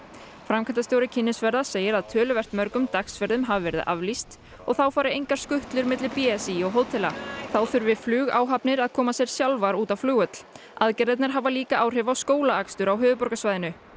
framkvæmdastjóri kynnisferða segir að töluvert mörgum dagsferðum hafi verið aflýst og þá fari engar skutlur milli b s í og hótela þá þurfi flugáhafnir að koma sér sjálfar út á flugvöll aðgerðirnar hafa líka áhrif á skólaakstur á höfuðborgarsvæðinu